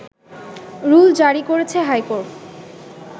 rule জারি করেছে high court